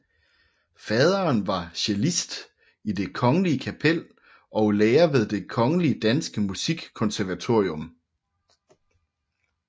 Faderen var cellist i Det Kongelige Kapel og lærer ved Det Kongelige Danske Musikkonservatorium